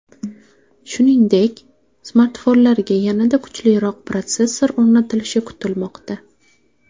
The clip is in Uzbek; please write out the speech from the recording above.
Shuningdek, smartfonlarga yanada kuchliroq protsessor o‘rnatilishi kutilmoqda.